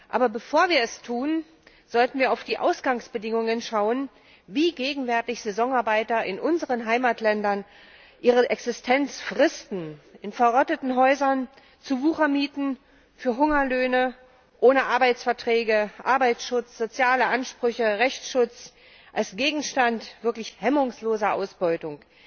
Aber bevor wir es tun, sollten wir auf die Ausgangsbedingungen schauen, wie gegenwärtig Saisonarbeiter in unseren Heimatländern ihre Existenz fristen in verrotteten Häusern, zu Wuchermieten, für Hungerlöhne, ohne Arbeitsverträge, Arbeitsschutz, soziale Ansprüche, Rechtsschutz, als Gegenstand wirklich hemmungsloser Ausbeutung.